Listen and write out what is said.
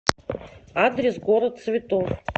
адрес город цветов